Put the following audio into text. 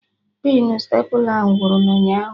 Pinu stepla ahụ wụrụ n'ala ụnyaahụ